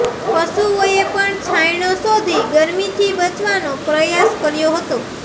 પશુઓએ પણ છાયડો શોધી ગરમીથી બચવાનો પ્રયાસ કર્યો હતો